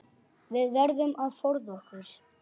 Við verðum að forða okkur.